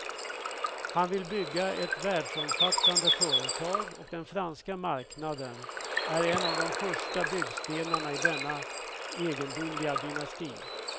Han vill bygga ett världsomfattande företag, och den franska marknaden är en av de första byggstenarna i denna egendomliga dynasti.